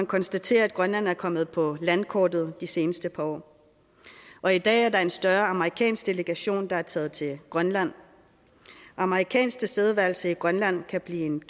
konstatere at grønland er kommet på landkortet de seneste par år og i dag er der en større amerikansk delegation der er taget til grønland amerikansk tilstedeværelse i grønland kan blive en